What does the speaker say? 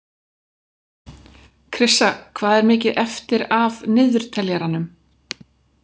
Krissa, hvað er mikið eftir af niðurteljaranum?